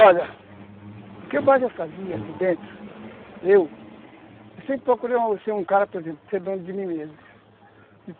Olha, o que mais eu fazia ali dentro, eu, eu sempre procurei ser um cara, por exemplo, ser dono de mim mesmo.